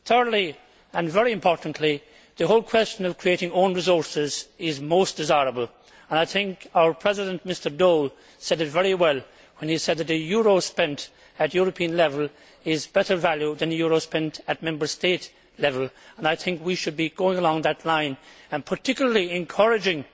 Thirdly and very importantly the whole question of creating own resources is most desirable. I think our President, Mr Daul, said it very well when he said that a euro spent at European level is better value than a euro spent at Member State level. I think we should be going along that line and particularly encouraging